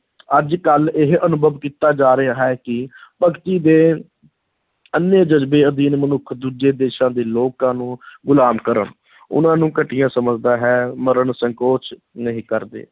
ਅੱਜ-ਕੱਲ੍ਹ ਇਹ ਅਨੁਭਵ ਕੀਤਾ ਜਾ ਰਿਹਾ ਹੈ ਕਿ ਭਗਤੀ ਦੇ ਅੰਨ੍ਹੇ ਜਜ਼ਬੇ ਅਧੀਨ ਮਨੁੱਖ ਦੂਜੇ ਦੇਸ਼ਾਂ ਦੇ ਲੋਕਾਂ ਨੂੰ ਗੁਲਾਮ ਕਰਨ ਉਨ੍ਹਾਂ ਨੂੰ ਘਟੀਆ ਸਮਝਦਾ ਹੈ, ਮਰਨ ਸੰਕੋਚ ਨਹੀਂ ਕਰਦੇ।